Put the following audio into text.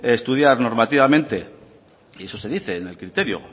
estudiar normativamente y eso se dice en el criterio